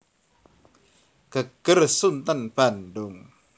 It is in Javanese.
Geger Sunten Bandung